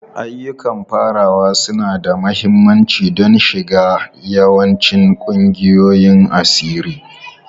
Ayyukan farawa suna da mahimmanci don shiga yawancin ƙungiyoyin asiri.